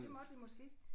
Det måtte vi måske ikke?